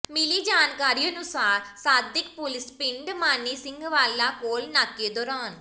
ਮਿਲੀ ਜਾਣਕਾਰੀ ਅਨੁਸਾਰ ਸਾਦਿਕ ਪੁਲੀਸ ਪਿੰਡ ਮਾਨੀ ਸਿੰਘ ਵਾਲਾ ਕੋਲ ਨਾਕੇ ਦੌਰਾਨ